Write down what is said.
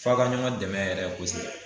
F'a ka ɲɔgɔn dɛmɛ yɛrɛ kosɛbɛ.